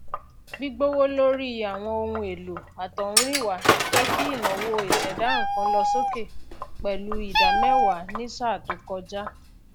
gbígbówó lórí àwọn ohunèlò àtọhúrìnwá jẹ kí ìnáwó ìṣẹdá nnkan lọ sókè pẹlú ìdá mẹwàá ní sáà tó kọjá